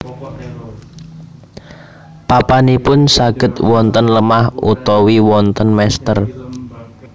Papanipun saged wonten lemah utawi wonten mestèr